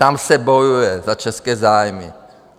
Tam se bojuje za české zájmy.